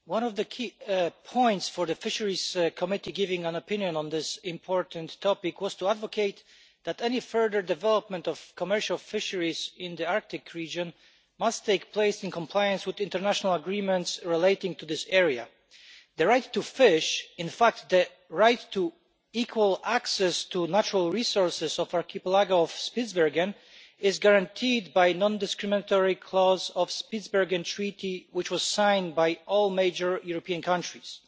Mr President, one of the key points for the Fisheries Committee in giving an opinion on this important topic was to advocate that any further development of commercial fisheries in the Arctic region must take place in compliance with international agreements relating to this area. The right to fish, in fact the right to equal access to natural resources of the archipelago of Spitsbergen, is guaranteed by a non discrimination clause of the Spitsbergen Treaty which was signed by all major European countries.